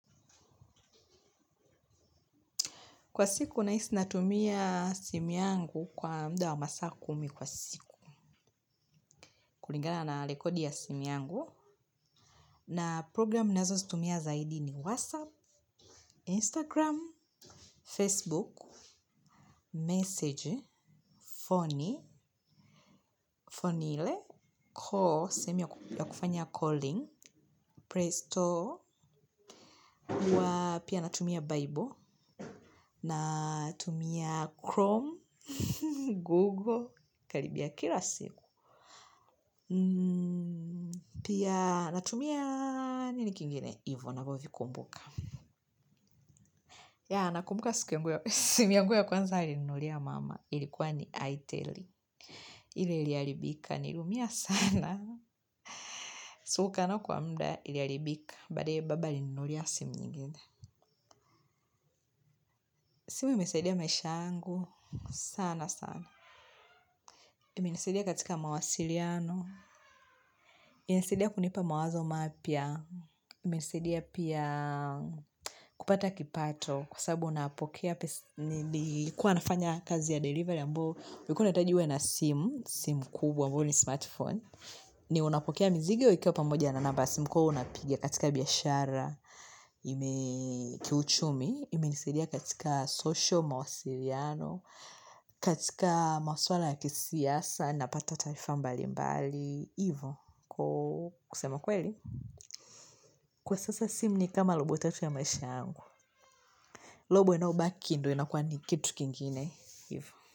Kwa siku, nahisi natumia simu yangu kwa muda wa masaa kumi kwa siku. Kulingana na rekodi ya simu yangu. Na programu nazozitumia zaidi ni Whatsapp, Instagram, Facebook, Message, Phony, Phone ni ile Call. Sehemu ya kufanya calling, Playstore, huwa pia natumia Bible, Chrome, Google, karibia kila siku. Pia natumia nini kingine hivyo navyovikumbuka. Yeah nakumbuka simu yangu ya kwanza nilinunulia mama ilikuwa ni Itel. Ile iliharibika niliumia sana. So kukaa nayo kwa muda iliharibika baada ya hiyo baba alininunulia simu nyingine. Simu imesaidia maisha yangu sana sana. Imenisaidia katika mawasiliano, imenisaidia kunipa mawazo mapya. Imenisaidia pia kupata kipato kwa sababu napokea kuwa nafanya kazi ya delivery ambayo ulikuwa unahitaji uwe na simu, simu kubwa ambayo ni smartphone ni unapokea mizigo ikiwa pamoja na namba ya simu kwa hiyo huwa unapigia katika biashara ime kiuchumi, imenisaidia katika social mawasiliano, katika maswala ya kisiasa napata taarifa mbalimbali, hivo kusema kweli kwa sasa simu ni kama robo tatu ya maisha yangu, robo linalobaki ndio inakuwa ni kitu kingine hivo.